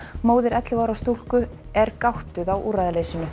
móðir ellefu ára stúlku er gáttuð á úrræðaleysinu